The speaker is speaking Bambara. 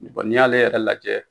Bɔn n'i y'ale yɛrɛ lajɛ